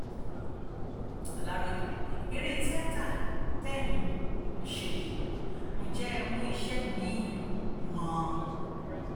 aláròye eré tíáta tẹ́ ẹ̀ ń ṣe yìí ǹjẹ ẹ́ mú iṣẹ́ mi-ín mọ́ ọn